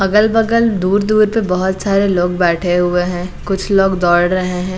अगल-बगल दूर- दूर पर बहुत सारे लोग बैठे हुए हैं कुछ लोग दौड़ रहे हैं।